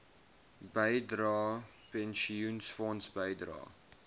bydrae pensioenfonds bydrae